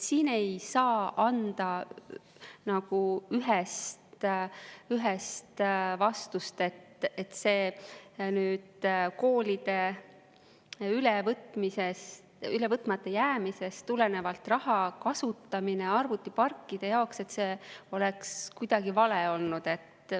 Siin ei saa anda ühest vastust, et see koolide ülevõtmata jäämisest tuleneva raha kasutamine arvutiparkide jaoks oleks kuidagi vale olnud.